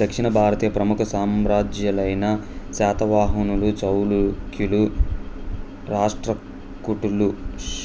దక్షిణభారతీయ ప్రముఖ సామ్రాజ్యాలైన శాతవాహనులు చాళుఖ్యులు రాష్ట్రకూటులు